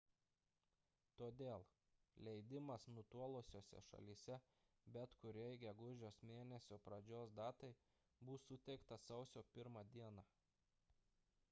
todėl leidimas nutolusiose šalyse bet kuriai gegužės mėnesio pradžios datai bus suteiktas sausio 1 d